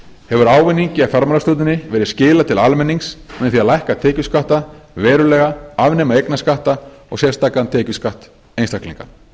hefur ávinningi af fjármálastjórninni verið skilað til almennings með því að lækka tekjuskatta verulega afnema eignarskatta og sérstakan tekjuskatt einstaklinga